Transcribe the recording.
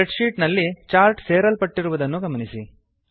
spread sheet ನಲ್ಲಿ chart ಸೇರಲ್ಪಟ್ಟಿರುವುದನ್ನು ಗಮನಿಸಿ